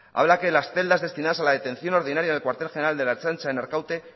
habla que las celdas destinadas a la detención ordinaria en el cuartel general de la ertzaintza en arkaute